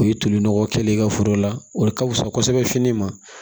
O ye toli nɔgɔ kɛlen ye i ka foro la o de ka fusa kosɛbɛ fini ma